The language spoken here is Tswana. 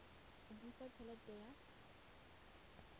go busa t helete ya